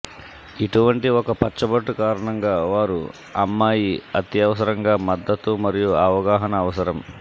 ఇటువంటి ఒక పచ్చబొట్టు కారణంగా వారు అమ్మాయి అత్యవసరంగా మద్దతు మరియు అవగాహన అవసరం